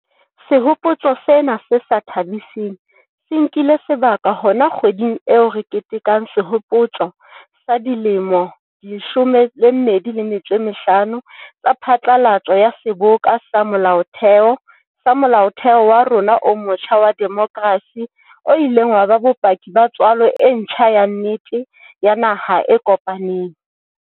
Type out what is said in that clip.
Sehopotso sena se sa tha-biseng se nkile sebaka hona kgweding eo re ketekang sehopotso sa dilemo di 25 tsa phatlalatso ya Seboka sa Molaotheo sa Molaotheo wa rona o motjha wa demokrasi, o ileng wa ba bopaki ba tswalo e ntjha ya nnete ya naha e kopaneng.